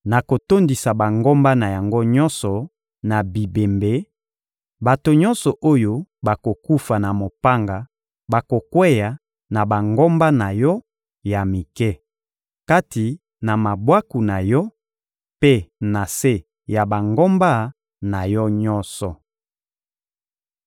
Nakotondisa bangomba na yango nyonso na bibembe; bato nyonso oyo bakokufa na mopanga bakokweya na bangomba na yo ya mike, kati na mabwaku na yo mpe na se ya bangomba na yo nyonso.